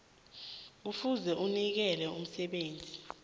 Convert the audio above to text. kufuze anikele umsebenzi